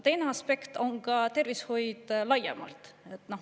Teine aspekt on tervishoid laiemalt.